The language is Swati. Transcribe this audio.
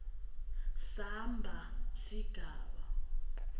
samba sigaba d